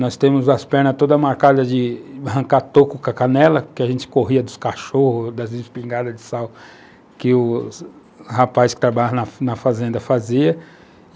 Nós temos as pernas todas marcadas de arrancar toco com a canela, que a gente corria dos cachorros, das espingadas de sal, que os rapazes que trabalhavam na fazenda faziam.